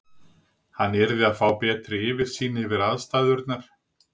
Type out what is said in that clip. Hann yrði að fá betri yfirsýn yfir aðstæðurnar.